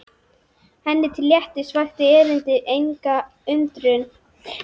Henni til léttis vakti erindið enga undrun.